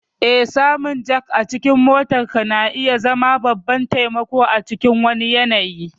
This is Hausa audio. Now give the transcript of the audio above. Eh, samun jack a cikin motarka na iya zama babban taimako a cikin wani yanayi.